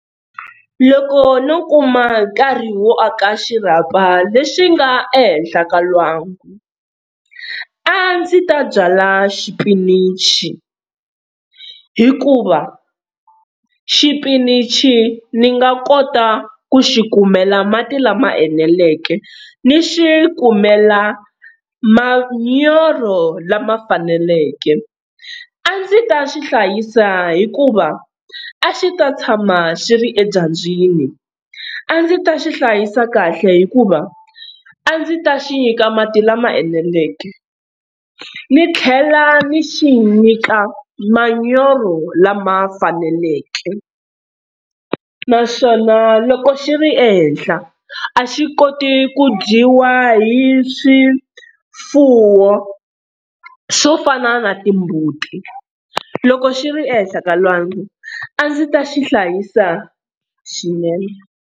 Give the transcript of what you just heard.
Loko no kuma nkarhi wo aka xirhapa lexi nga ehenhla ka lwangu a ndzi ta byala xipinichi, hikuva xipinichi ni nga kota ku xi kumela mati lama eneleke, ni xi kumela manyoro lama faneleke. A ndzi ta swi hlayisa hikuva a xi ta tshama xi ri edyambyini, a ndzi ta xi hlayisa kahle hikuva a ndzi ta xi nyika mati lama eneleke ni tlhela ni xi nyika manyoro lama faneleke, naswona loko xi ri ehenhla a xi koti ku dyiwa hi swifuwo, swo fana na timbuti. Loko xi ri ehenhla ka lwangu a ndzi ta xi hlayisa swinene.